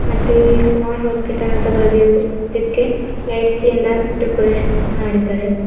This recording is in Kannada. ಮತ್ತೆ ಕುಮಾರ್ ಹಾಸ್ಪಿಟಲ್ ಅಂತ ಬರೆದಿರುವುದಕ್ಕೆ ಲೈಟ್ ಲಿಂದ ಡೆಕೋರೇಷನ್ ಮಾಡಿದ್ದಾರೆ.